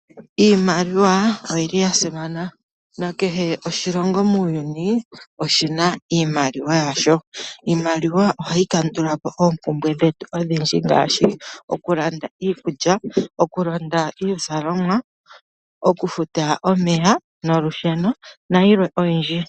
Iimaliwa oyili ya simana, na kehe oshilongo muuyuni oshina iimaliwa yasho. Iimaliwa ohayi kandulapo oompumbwe dhetu ondhindji, ngaashi okulanda iikulya, okulanda iizalomwa, okufuta omeya nolusheno nayilwe oyindji.